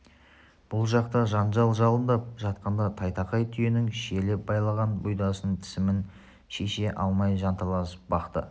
бұл жақта жанжал жалындап жатқанда тайтақай түйенің шиелеп байланған бұйдасын тісімен шеше алмай жанталасып бақты